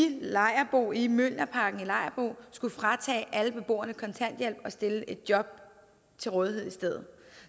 lejerbo i mjølnerparken skulle fratage alle beboerne kontanthjælp og stille et job til rådighed i stedet